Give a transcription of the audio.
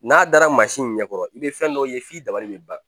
N'a dara mansin in ɲɛkɔrɔ i bɛ fɛn dɔ ye f'i dabali bɛ ban